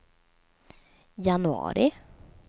januari